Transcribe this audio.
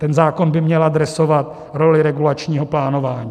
Ten zákon by měl adresovat roli regulačního plánování.